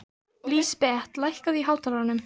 Lísbet, lækkaðu í hátalaranum.